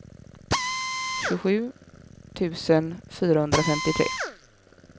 tjugosju tusen fyrahundrafemtiotre